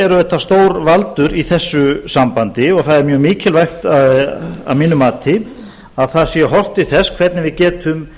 auðvitað stórvaldur í þessu sambandi og það er mjög mikilvægt að mínu mati að það sé horft til þess hvernig við getum